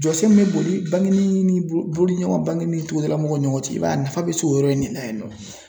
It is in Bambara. Jɔsen min be boli bangini boli ɲɔgɔn bangini ni togodala mɔgɔw ni ɲɔgɔn cɛ i b'a ye a nafa be se o yɔrɔ in ne la yen nɔ